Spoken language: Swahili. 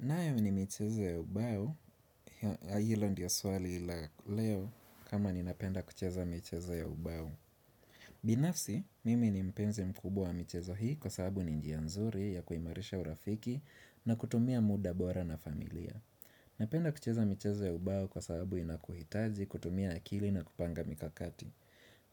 Nayo ni michezo ya ubao, hilo ndio lswali laleo kama ninapenda kucheza michezo ya ubao. Binafsi, mimi ni mpenzi mkubwa wa michezo hii kwa sababu ni njia nzuri ya kuimarisha urafiki na kutumia muda bora na familia. Napenda kucheza michezo ya ubao kwa sababu inakuhitaji, kutumia akili na kupanga mikakati.